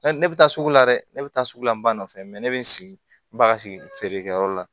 ne bɛ taa sugu la dɛ ne bɛ taa sugu la n ba nɔfɛ mɛ ne bɛ n sigi baga sigi feere kɛyɔrɔ la